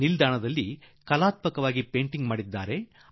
railway ನಿಲ್ದಾಣವನ್ನು ಕಲಾತ್ಮಕ ಚಿತ್ರಗಳಿಂದ ರೂಪಿಸಿದ್ದಾರೆ